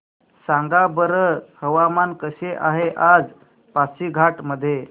सांगा बरं हवामान कसे आहे आज पासीघाट मध्ये